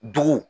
Dugu